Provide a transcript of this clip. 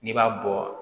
N'i b'a bɔ